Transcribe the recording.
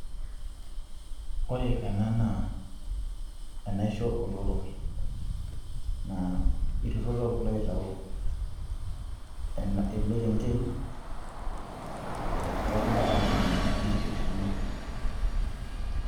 Ore ena naa enaisho oo lotorok, naa ilotorok loitau ena ele kenkei, ooh kuna tokitin enye, ninche oshi oisho yiook.